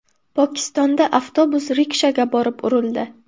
Pokistonda avtobus rikshaga borib urildi.